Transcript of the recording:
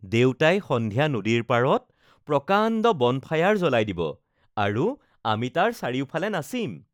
দেউতাই সন্ধিয়া নদীৰ পাৰত প্ৰকাণ্ড বনফায়াৰ জ্বলাই দিব আৰু আমি তাৰ চাৰিওফালে নাচিম।